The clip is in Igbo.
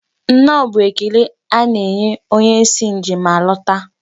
Nnọọ bụ ekele a na-enye onye si njem alata.